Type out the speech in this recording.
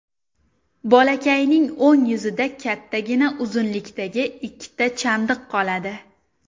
Bolakayning o‘ng yuzida kattagina uzunlikdagi ikkita chandiq qoladi.